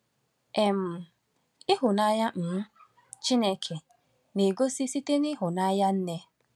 um Ịhụnanya um Chineke na-egosi site n’ịhụnanya nne